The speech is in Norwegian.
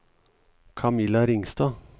Camilla Ringstad